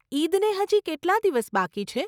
ઇદને હજી કેટલાં દિવસ બાકી છે?